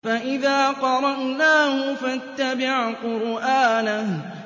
فَإِذَا قَرَأْنَاهُ فَاتَّبِعْ قُرْآنَهُ